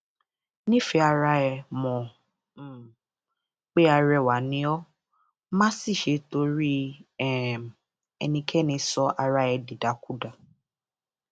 nífẹẹ ara ẹ mọ um pé arẹwà ni ó má sì ṣe torí um ẹnikẹni sọ ara ẹ dìdàkudà